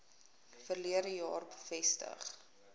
verlede jaar bevestig